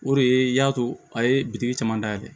O de ye y'a to a ye bitiki caman dayɛlɛ